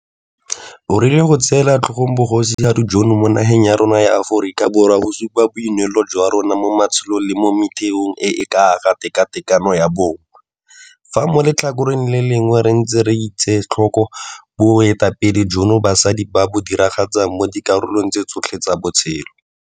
O rile go tseela tlhogong Bogosigadi jono mo nageng ya rona ya Aforika Borwa go supa boineelo jwa rona mo maitsholong le mo metheong e e ka ga tekatekano ya bong, fa mo letlhakoreng le lengwe re ntse re etsetlhoko boeteledipele joo basadi ba bo diragatsang mo dikarolong tse tsotlhe tsa botshelo.